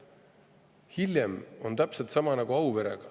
Muidu on hiljem täpselt sama nagu Auverega.